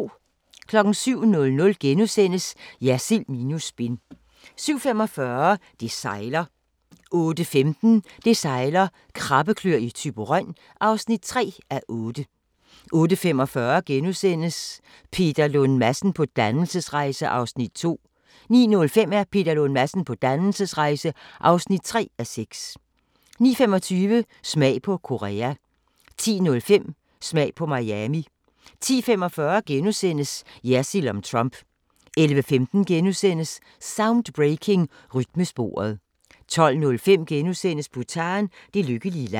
07:00: Jersild minus spin * 07:45: Det sejler 08:15: Det sejler - Krabbekløer i Thyborøn (3:8) 08:45: Peter Lund Madsen på dannelsesrejse (2:6)* 09:05: Peter Lund Madsen på dannelsesrejse (3:6) 09:25: Smag på Korea 10:05: Smag på Miami 10:45: Jersild om Trump * 11:15: Soundbreaking – Rytmesporet * 12:05: Bhutan: Det lykkelige land *